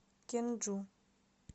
кенджу